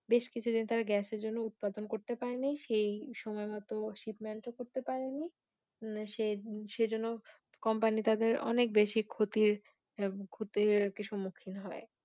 বেশ কিছু দিন ধরে Gas এর জন্য উৎপাদন করতে পারে নি সেই সময় মত Shipment ও করতে পারে নি সে~সেজন্য Company তাদের অনেক বেশি ক্ষতির ক্ষতির সম্মুখীন হয়।